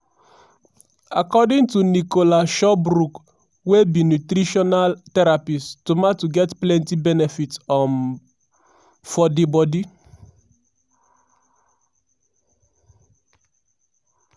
according to nicola shubrook wey be nutritional therapist tomato get plenti benefits for um di bodi.